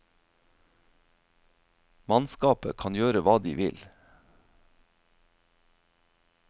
Mannskapet kan gjøre hva de vil.